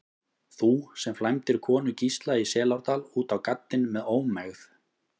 Þú, sem flæmdir konu Gísla í Selárdal út á gaddinn með ómegð.